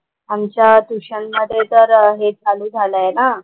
आमच्या ट्युशनमध्ये तर हे चालू झालंय ना.